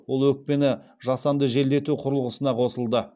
ол өкпені жасанды желдету құрылғысына қосылды